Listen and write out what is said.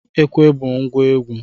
Ekwe bụ ngwa egwu